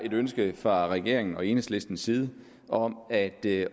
et ønske fra regeringens og enhedslistens side om at det